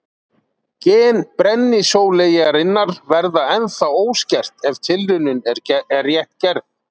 Gen brennisóleyjarinnar verða ennþá óskert ef tilraunin er rétt gerð.